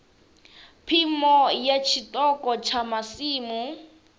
phimo ya tshiṱoko tsha masimu